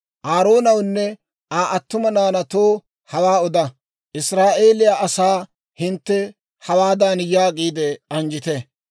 «Aaroonawunne Aa attuma naanaatoo hawaa oda; ‹Israa'eeliyaa asaa hintte hawaadan yaagiide anjjite: